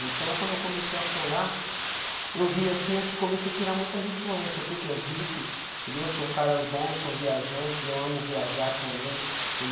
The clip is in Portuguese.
Então, quando eu comecei a colar, eu vi assim, eu te comecei a tirar muitas influências, porque os hippies, entendeu, são caras bons, são viajantes, eu amo viajar também,